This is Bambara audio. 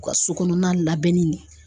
U ka so kɔnɔna labɛnni de